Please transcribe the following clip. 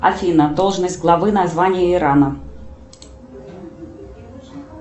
афина должность главы название ирана